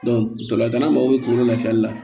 ntolantana mago bɛ kungolo lafiyali la